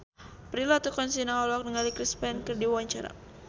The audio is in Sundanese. Prilly Latuconsina olohok ningali Chris Pane keur diwawancara